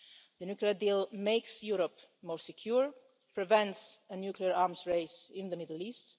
The nuclear deal makes Europe more secure and prevents a nuclear arms race in the Middle